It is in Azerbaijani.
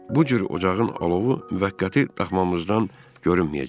Bu cür ocağın alovu müvəqqəti daxmamızdan görünməyəcəkdi.